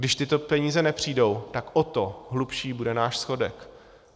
Když tyto peníze nepřijdou, tak o to hlubší bude náš schodek.